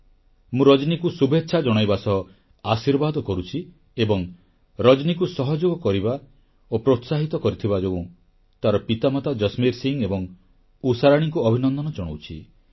ମୁଁ ରଜନୀକୁ ଶୁଭେଚ୍ଛା ଜଣାଇବା ସହ ଆଶୀର୍ବାଦ କରୁଛି ଏବଂ ରଜନୀକୁ ସହଯୋଗ କରିବା ଓ ପ୍ରୋତ୍ସାହିତ କରିଥିବା ଯୋଗୁଁ ତାର ପିତାମାତା ଜସମେର ସିଂ ଏବଂ ଉଷାରାଣୀଙ୍କୁ ଅଭିନନ୍ଦନ ଜଣାଉଛି